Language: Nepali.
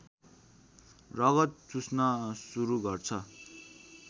रगत चुस्न सुरू गर्छ